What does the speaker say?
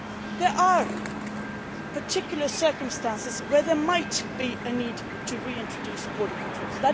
There are particular circumstances where there might be a need to reintroduce border controls.